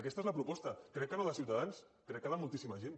aquesta és la proposta crec que no de ciutadans crec que de moltíssima gent